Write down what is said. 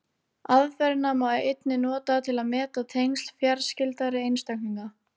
Aðferðina má einnig nota til að meta tengsl fjarskyldari einstaklinga.